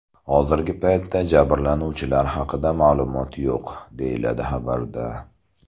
Hozirgi paytda jabrlanuvchilar haqida ma’lumot yo‘q”, deyiladi xabarda.